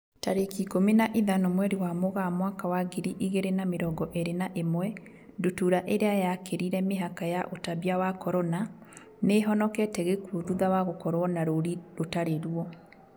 Tarĩki ikũmi na ithano mweri wa Mũgaa mwaka wa ngiri igĩrĩ na mĩrongo ĩrĩ na ĩmwe, ndutura ĩrĩa yakĩrire mĩhaka ya ũtambia wa Corona, nĩihonokete gĩkuo thutha wa gũkorwo na rũri rũtari ruo